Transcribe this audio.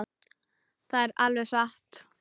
Það er alveg satt.